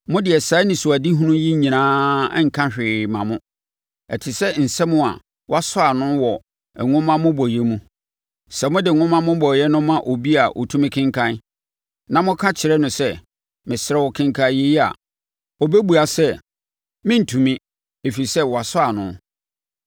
Mo deɛ saa anisoadehunu yi nyinaa nka hwee mma mo, ɛte sɛ nsɛm a wɔasɔ ano wɔ nwoma mmobɔeɛ mu. Sɛ mode nwoma mmobɔeɛ no ma obi a ɔtumi kenkan, na moka kyerɛ no sɛ, “Mesrɛ wo kenkan yei” a, ɔbɛbua sɛ, “Merentumi, ɛfiri sɛ wɔasɔ ano.”